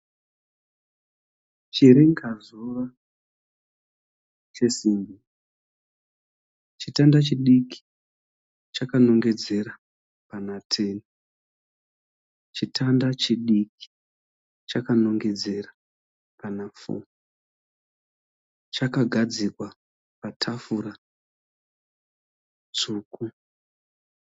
Chiringazuva chesimbi, chitanda chidiki chakanongedzera pana 10 chitanda chidiki chakanongedzera pana 4 chaka gadzikwa patafura tsvuku.